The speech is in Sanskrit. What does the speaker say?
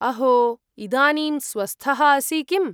अहो, इदानीं स्वस्थः असि किम्?